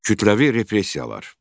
Kütləvi repressiyalar.